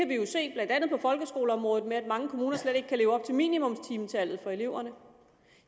vi jo se blandt andet på folkeskoleområdet ved at mange kommuner slet ikke kan leve op til minimumstimetallet for eleverne